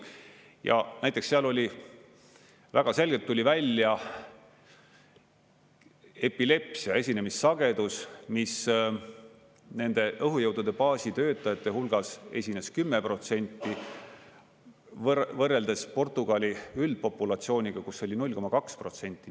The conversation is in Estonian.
Ja näiteks seal väga selgelt tuli välja epilepsia esinemissagedus, mis nende õhujõudude baasi töötajate hulgas esines 10%, võrreldes Portugali üldpopulatsiooniga, kus oli see 0,2%.